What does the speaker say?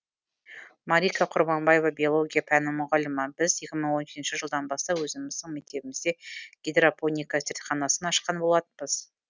малика құрманбаева биология пәнінің мұғалімі біз екі мың он жетінші жылдан бастап өзіміздің мектебімізде гидропоника зертханасын ашқан болатынбыз